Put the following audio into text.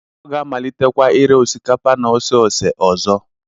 Ọ ga-amalitekwa ire osikapa na ose ose ọzọ.